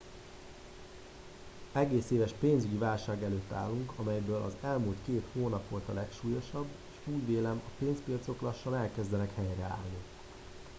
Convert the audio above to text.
egész éves pénzügyi válság előtt állunk amelyből az elmúlt két hónap volt a legsúlyosabb és úgy vélem a pénzpiacok lassan elkezdenek helyreállni